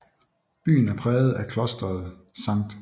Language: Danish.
Byen er præget af Klosteret St